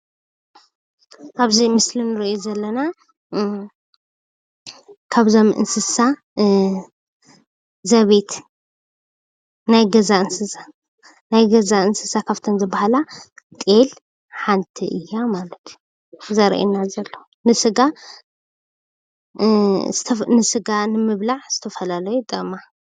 ኣብዚ ምስሊ ንሪኦ ዘለና ካብዞም እንስሳ ዘቤት ናይ ገዛ እንስሳ ካፍቶም ዝበሃላ ጤል ሓንቲ እያ ማለት እዩ ዘርእየና ዘሎ፡፡ ንስጋ ንምብላዕ ዘተፈላለዩ ይጠቕማ፡፡